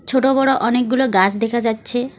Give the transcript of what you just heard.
ছোট বড় অনেকগুলো গাস দেখা যাচ্ছে।